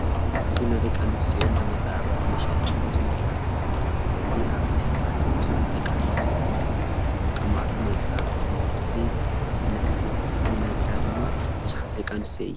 እዚ ናይ ደቂ ኣነስትዮ እንዳመፃባበቂ መሸጢ ኮትኑ እዚ እዚ ኣብዚ ሰዓት ቡዙሓት ደቂ ኣነስትዮ ዝጥቀማሉ መፀባበቂ እዩ። እዚ ዝነግዳ ድማ ቡዙሓት ደቂ ኣነስትዮ እየን።